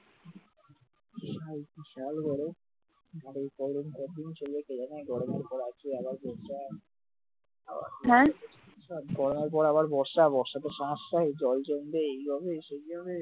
গরমের পর আবার বর্ষা বর্ষার পর সমস্যা জল জমবে এইভাবে সেই হবে,